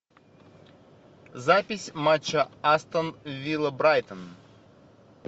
запись матча астон вилла брайтон